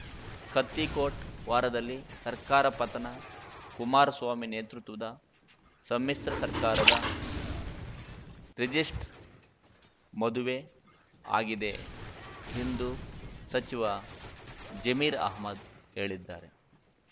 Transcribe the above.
ಕತ್ತಿ ಕೋಟ್‌ ವಾರದಲ್ಲಿ ಸರ್ಕಾರ ಪತನ ಕುಮಾರಸ್ವಾಮಿ ನೇತೃತ್ವದ ಸಮ್ಮಿಶ್ರ ಸರ್ಕಾರದ ರಿಜಿಸ್ಟ್ರ್ ಮದುವೆ ಆಗಿದೆ ಎಂದು ಸಚಿವ ಜಮೀರ ಅಹ್ಮದ್‌ ಹೇಳಿದ್ದಾರೆ